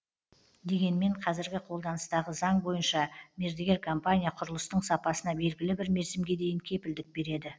дегенмен қазіргі қолданыстағы заң бойынша мердігер компания құрылыстың сапасына белгілі бір мерзімге дейін кепілдік береді